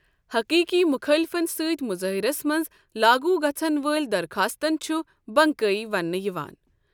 حٔقیٖقی مُخٲلِفَن سۭتۍ مظٲہرس منٛز لاگو گژھن وٲلۍ درخواستن چھُ بنکائی وننہٕ یِوان۔